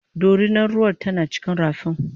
dorinar ruwar tana cikin rafin